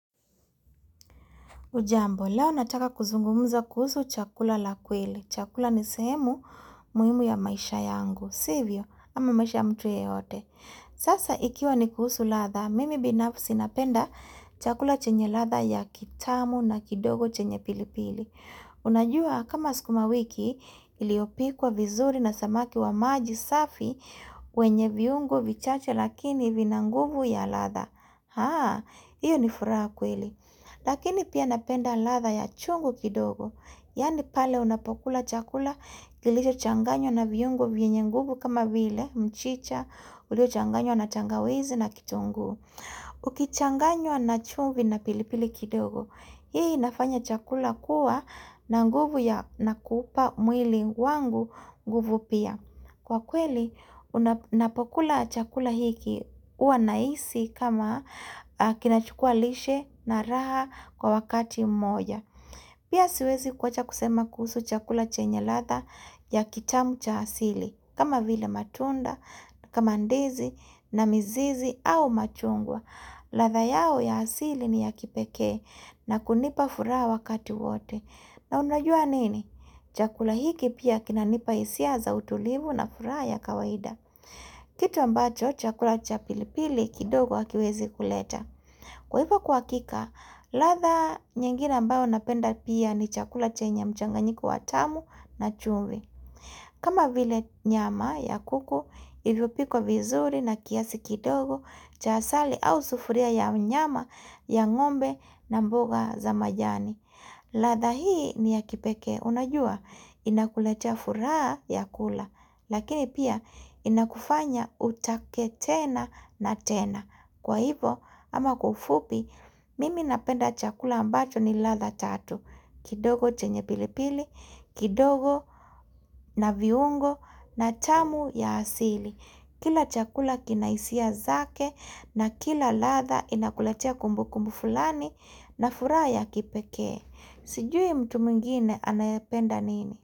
Ujambo, leo nataka kuzungumza kuhusu chakula la kweli. Chakula nisehemu muhimu ya maisha yangu. Sivyo, ama maisha mtu yeyote. Sasa, ikiwa ni kuhusu ladha, mimi binafsi napenda chakula chenye ladha ya kitamu na kidogo chenye pilipili. Unajua, kama sikuma wiki, iliopikwa vizuri na samaki wa maji safi, wenye viungu vichache lakini vinanguvu ya ladha. Haa, hiyo ni furaha kweli. Lakini pia napenda ladha ya chungu kidogo. Yani pale unapokula chakula kilicho changanywa na viyungu vwenye nguvu kama vile mchicha ulio changanywa na tangawizi na kitungu. Ukichanganywa na chumvi na pilipili kidogo Hii inafanya chakula kuwa na nguvu ya nakupa mwili wangu nguvu pia Kwa kweli unapokula chakula hiki huwa nahisi kama kinachukua lishe na raha kwa wakati moja Pia siwezi kuwacha kusema kusu chakula chenye ladha ya kitamu cha hasili kama vile matunda, kama ndizi na mizizi au machungwa ladha yao ya hasili ni ya kipeke na kunipa furaha wakati wote na unajua nini? Chakula hiki pia kina nipa hisia za utulivu na furaa ya kawaida Kitu ambacho chakula cha pilipili kidogo hakiwezi kuleta Kwa hivyo kwa hakika, ladha nyengine ambao napenda pia ni chakula chenye mchanganyiko wa tamu na chumvi kama vile nyama ya kuku, ilivyo pikwa vizuri na kiasi kidogo cha asali au sufuria ya nyama ya ngombe na mboga za majani. Ladha hii ni ya kipeke, unajua inakuletea furaha ya kula, lakini pia inakufanya utake tena na tena. Kwa hivo, ama kwa ufupi, mimi napenda chakula ambacho ni ladha tatu. Kidogo chenye pilipili, kidogo na viungo na tamu ya asili. Kila chakula kinahisia zake na kila ladha inakulatea kumbukumbu fulani na furaha ya kipekee. Sijui mtu mwingine anayapenda nini?